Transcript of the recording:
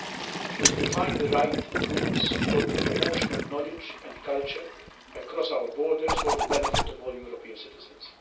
It will define the right rules for the promotion of knowledge and culture across our borders for the benefit of all European citizens.